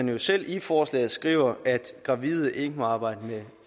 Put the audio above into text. jo selv i forslaget skriver at gravide ikke må arbejde med